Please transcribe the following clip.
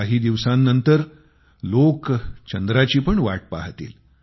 काही दिवसांनंतर लोक चंद्राची पण वाट पाहतील